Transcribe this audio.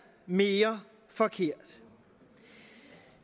mere forkert